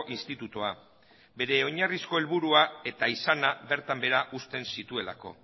institutua bere oinarrizko helburua eta izana bertan behera uzten zituelako